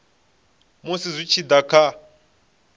musi zwi tshi da kha